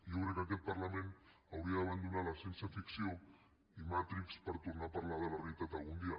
jo crec que aquest parlament hauria d’abandonar la ciència ficció i matrix per tornar a parlar de la realitat algun dia